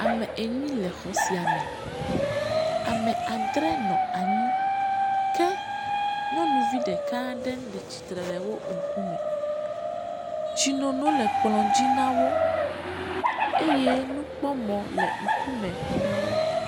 Ame enyi Le exɔ sia me. Ame adre nɔ anyi ke nyɔnuvi ɖeka aɖe le tsitre le wò ŋku me. Tsi nono le kplɔ dzi nawò eye nukpɔmɔ le ŋku me nawo.